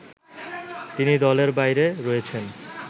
তিনি দলের বাইরে রয়েছেন